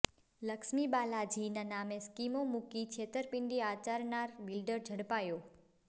લક્ષ્મી બાલાજીના નામે સ્કીમો મૂકી છેતરપિંડી આચરનાર બિલ્ડર ઝડપાયો